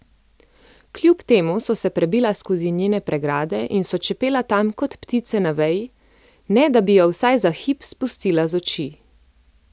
Kljub temu so se prebila skozi njene pregrade in so čepela tam kot ptice na veji, ne da bi jo vsaj za hip spustila z oči.